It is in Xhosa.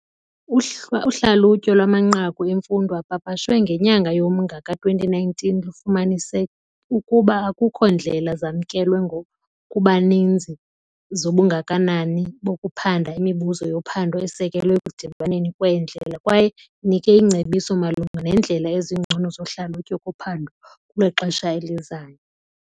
Uhlwa uhlalutyo lwamanqaku emfundo apapashwe ngenyanga yoMnga ka-2019 lufumanise ukuba akukho ndlela zamkelwe ngokubanzi zobungakanani bokuphanda imibuzo yophando esekelwe ekudibaneni kweendlela kwaye inike iingcebiso malunga neendlela ezingcono zohlalutyo kuphando lwexesha elizayo.